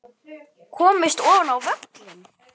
Komist ofar á völlinn?